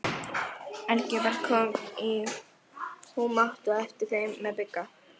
Engilbert kom í humátt á eftir þeim með Bigga.